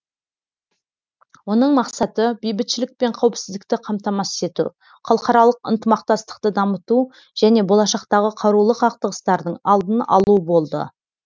оның мақсаты бейбітшілік пен қауіпсіздікті қамтамасыз ету халықаралық ынтымақтастықты дамыту және болашақтағы қарулы қақтығыстардың алдын алу болды